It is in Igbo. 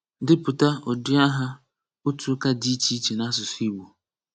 Depụta ụdị aha otu ụka dị iche iche n’asụsụ Igbo.